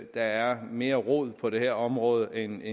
der er mere rod på det her område end